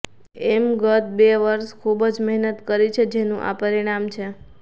અમે ગત બે વર્ષ ખૂબ જ મહેનત કરી છે જેનું આ પરિણામ છે